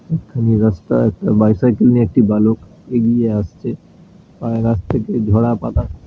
একখানি রাস্তা একটা বাইসাইকেল নিয়ে একটি বালক এগিয়ে আসছে। ঝরা পাতা --